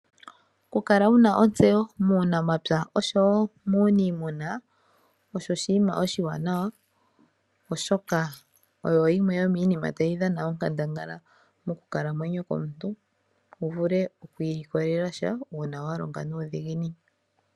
Okukala wuna ontseyo muunamapya nuuniimuna osho oshinima oshiwanawa oshoka oyo yimwe yomiinima tayi dhana onkandangala mokukalamwenyo komuntu wu vule okwiilikolela sha uuna walonga nuudhiginini.